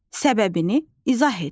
Səbəbini izah et.